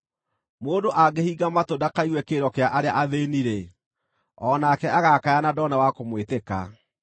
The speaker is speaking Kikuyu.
Mũndũ angĩhinga matũ ndakaigue kĩrĩro kĩa arĩa athĩĩni-rĩ, o nake agaakaya na ndone wa kũmwĩtĩka.